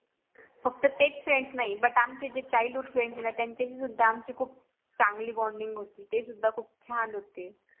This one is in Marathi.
फक्त तेच FRIENDS नाही BUT आमचे जे CHILDHOOD FRIENDS आहे ना त्यांच्याशी सुद्धा आमची खूप चांगली BONDING होती तेसुद्धा खूप छान होते